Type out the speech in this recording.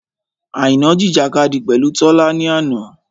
Àìná jìjìkadì pẹ̀lú Tọ́lá ni àná.